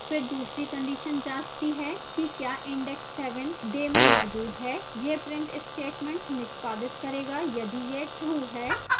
फिर दूसरी condition जाँचती है कि क्या index seven day में मौजूद है यह print statement निष्पादित करेगा यदि यह true है